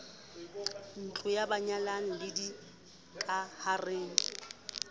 ntlong ya banyalani le dikahareng